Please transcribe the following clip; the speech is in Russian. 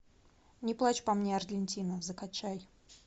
не плачь по мне аргентина закачай